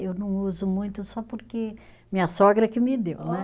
Eu não uso muito só porque minha sogra que me deu, né?